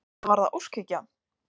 Eða var það óskhyggja?